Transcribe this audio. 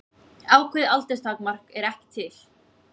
Ákveðið aldurstakmark er ekki til.